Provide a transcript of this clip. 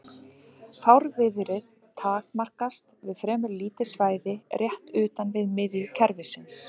Fárviðrið takmarkast við fremur lítið svæði rétt utan við miðju kerfisins.